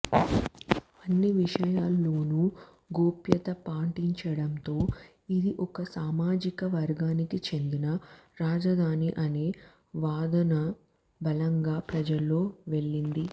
అన్ని విషయాల్లోనూ గోప్యత పాటించడంతో ఇది ఒక సామాజిక వర్గానికి చెందిన రాజధాని అనే వాదనబలంగా ప్రజల్లోకి వెళ్లింది